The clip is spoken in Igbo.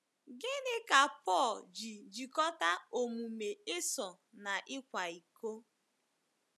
Gịnị ka Pọl ji jikọta omume Esau na ịkwa iko?